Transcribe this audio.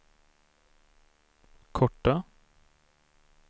korta